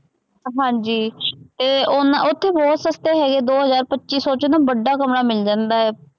ਹਾਂਜੀ ਅਤੇ ਉਹਨਾ ਉੱਥੇ ਬਹੁਤ ਸਸਤੇ ਹੈਗੇ, ਦੋ ਹਜ਼ਾਰ, ਪੱਚੀ ਸੌ ਚ ਨਾ ਵੱਡਾ ਕਮਰਾ ਮਿਲ ਜਾਂਦਾ ਹੈ,